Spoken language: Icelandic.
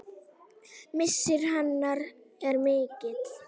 Missir hennar er mikill.